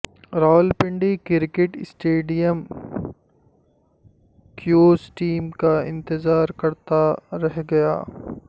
Rawalpindi cricket stadium Kiwis team کا انتظار کرتا رہ گیا